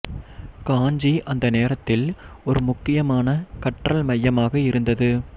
காஞ்சி அந்த நேரத்தில் ஒரு முக்கியமான கற்றல் மையமாக இருந்தது